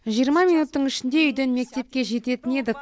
жиырма минуттың ішінде үйден мектепке жететін едік